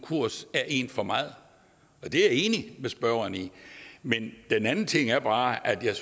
konkurs er en for meget det er jeg enig med spørgeren i men en anden ting er bare at jeg